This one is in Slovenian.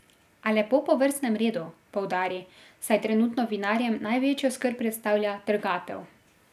A lepo po vrstnem redu, poudari, saj trenutno vinarjem največjo skrb predstavlja trgatev.